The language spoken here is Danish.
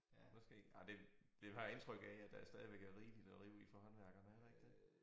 Måske ej det det har jeg indtryk af at der stadigvæk er rigeligt at rive i for håndværkere er der ikke det?